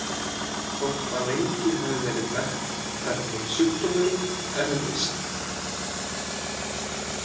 Þótt að lengi hafi verið þekkt hvernig sjúkdómurinn erfist.